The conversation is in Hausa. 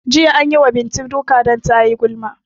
Jiya anyi wa Bintu duka dan tayi gulma